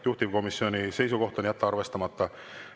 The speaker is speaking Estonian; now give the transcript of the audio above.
Juhtivkomisjoni seisukoht on jätta arvestamata.